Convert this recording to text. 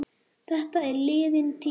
Þetta er liðin tíð.